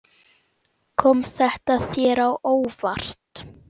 Kom þetta þér á óvart?